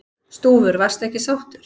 Stúfur: Varstu ekki sáttur?